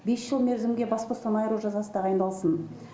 бес жыл мерзімге бас бостан айыру жазасы тағайындалсын